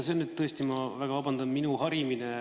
See on nüüd tõesti, ma väga vabandan, minu harimine.